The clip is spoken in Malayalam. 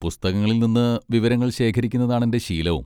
പുസ്തകങ്ങളിൽ നിന്ന് വിവരങ്ങൾ ശേഖരിക്കുന്നതാണെന്റെ ശീലവും..